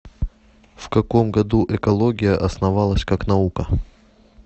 в каком году экология основалась как наука